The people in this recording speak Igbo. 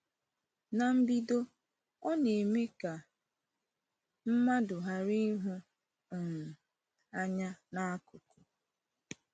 Na mbido, ọ na-eme ka mmadụ ghara ịhụ um anya n’akụkụ.